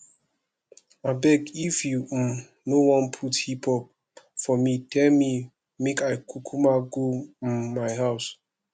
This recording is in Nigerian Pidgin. abeg if you um no wan put hip hop for me tell me make i kukuma go um my house